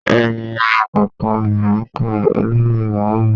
Eyín ọ̀kánkán obinrin ká, olóri ẹwà wó.